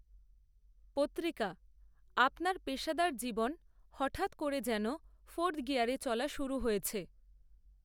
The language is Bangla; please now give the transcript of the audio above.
পত্রিকা, আপনার, পেশাদার জীবন, হঠাত্ করে যেন ফোর্থ গিয়ারে চলা শুরু হয়েছে